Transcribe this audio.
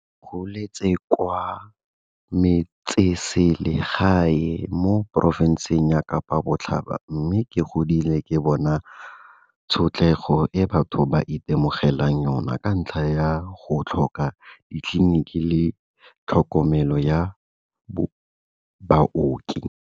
Ke goletse kwa metsesele gae mo porofenseng ya Kapa Botlhaba mme ke godile ke bona tshotlego e batho ba itemogelang yona ka ntlha ya go tlhoka ditleliniki le tlhokomelo ya baoki.